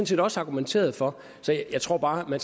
set også argumenteret for så jeg tror bare